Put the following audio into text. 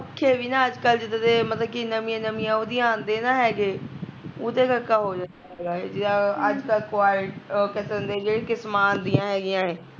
ਪੱਖੇ ਵੀ ਨਾ ਅੱਜ ਕੱਲ ਜਿਦਾਂ ਦੇ ਮਤਲਬ ਕਿ ਨਵੀਆਂ ਨਵੀਆਂ ਉਹਦੀਆਂ ਆਉਂਦੇ ਨਾ ਹੈਗੇ ਉਦੈ ਕਰਕੇ ਹੋ ਜਾਂਦਾ ਐ ਜਾਂ